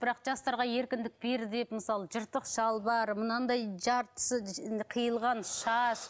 бірақ жастарға еркіндік берді деп мысалы жыртық шалбар мынандай жартысы қиылған шаш